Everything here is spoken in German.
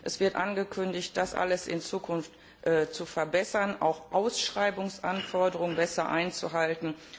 Es wird angekündigt, das alles in Zukunft zu verbessern, auch Ausschreibungsanforderungen besser einzuhalten.